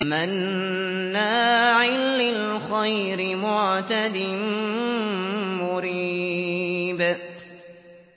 مَّنَّاعٍ لِّلْخَيْرِ مُعْتَدٍ مُّرِيبٍ